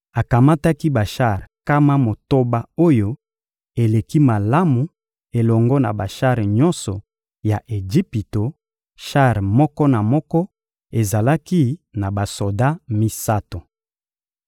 Akamataki bashar nkama motoba oyo eleki malamu elongo na bashar nyonso ya Ejipito; shar moko na moko ezalaki na basoda misato.